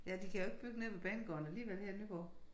Ja de kan jo ikke bygge nede ved banegården alligevel her i Nyborg